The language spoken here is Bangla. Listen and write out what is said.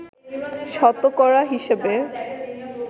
শতকরা হিসেবে